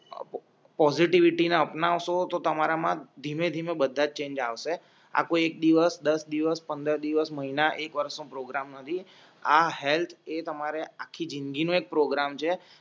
positivity અપનાવશો તો તમારામાં ધીમે ધીમે બધા ચેંજ આવસે આ કોઈ એક દિવસ દસ દિવસ પંદર દિવસ મહિના એક વર્ષ પ્રોગ્રામ નથી આ હેલ્થ એ તમારે આખી જ઼િંદગી એક પ્રોગ્રામ છે જે